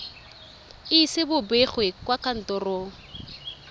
ise bo begwe kwa kantorong